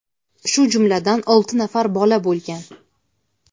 shu jumladan olti nafar bola bo‘lgan.